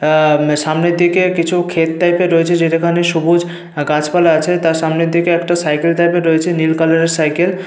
অঃ-অঃ সামনের দিকে কিছু ক্ষেত টাইপের রয়েছে। যেটাতে অনেক সবুজ গাছপালা আছে। তার সামনের দিকে একটা সাইকেল টাইপের রয়েছে নীল কালার এর সাইকেল ।